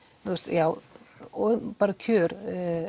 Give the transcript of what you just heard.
já bara um kjör